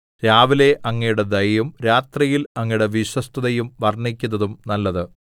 രാവിലെ അങ്ങയുടെ ദയയും രാത്രിയിൽ അങ്ങയുടെ വിശ്വസ്തതയും വർണ്ണിക്കുന്നതും നല്ലത്